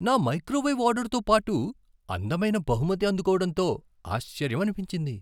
నా మైక్రోవేవ్ ఆర్డర్తో పాటు అందమైన బహుమతి అందుకోవడంతో ఆశ్చర్యమనిపించింది.